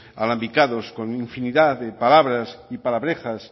alambicados con infinidad de palabras y palabrejas